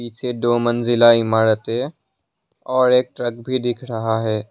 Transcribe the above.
पीछे दो मंजिला इमारत है और एक ट्रक भी दिख रहा है।